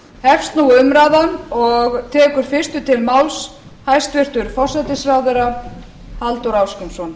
hefst nú umræðan og tekur fyrstur til máls hæstvirtur forsætisráðherra halldór ásgrímsson